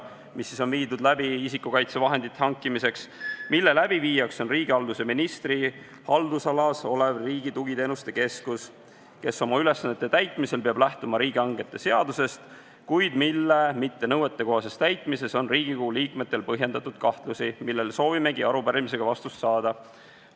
Peame silmas hankeid, mis on korraldatud isikukaitsevahendite hankimiseks ja mille läbiviijaks on riigihalduse ministri haldusalas olev Riigi Tugiteenuste Keskus, kes oma ülesannete täitmisel peab lähtuma riigihangete seadusest, kuid mille mittenõuetekohases täitmises on Riigikogu liikmetel põhjendatud kahtlusi, millele soovimegi arupärimisega vastust saada.